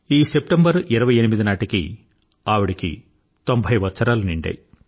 ఈ సెప్టెంబర్ 28 నాటికి ఆవిడకి తొంభై ఏళ్ళు నిండాయి